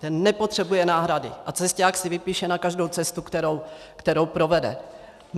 Ten nepotřebuje náhrady a cesťák si vypíše na každou cestu, kterou provede.